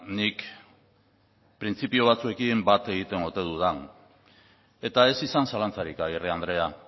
nik printzipio batzuekin bat egiten ote dudan eta ez izan zalantzarik agirre andrea